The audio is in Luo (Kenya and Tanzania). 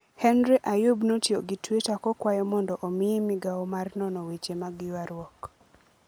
Hery Ayub notiyo gi twita kokwayo mondo omiye migawo mar nono weche mag ywaruok.